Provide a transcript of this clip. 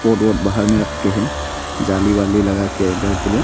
Board board बाहर मे रख के है जाली वाली लगा के घर के लिए।